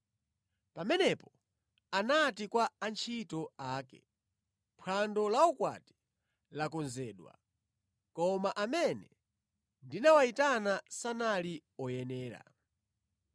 “Pamenepo anati kwa antchito ake, ‘Phwando laukwati lakonzedwa, koma amene ndinawayitana sanali oyenera.